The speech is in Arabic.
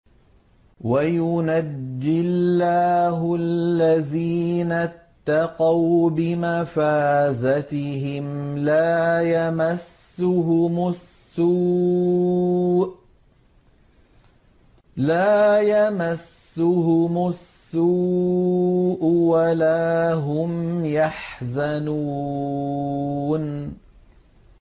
وَيُنَجِّي اللَّهُ الَّذِينَ اتَّقَوْا بِمَفَازَتِهِمْ لَا يَمَسُّهُمُ السُّوءُ وَلَا هُمْ يَحْزَنُونَ